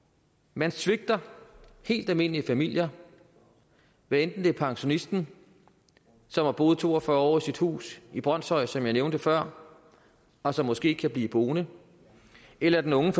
man svigter helt almindelige familier hvad enten det er pensionisten som har boet to og fyrre år i sit hus i brønshøj som jeg nævnte før og som måske ikke kan blive boende eller det unge